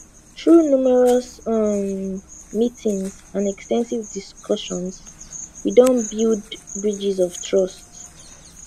through numerous um meetings and ex ten sive discussions we don build bridges of trust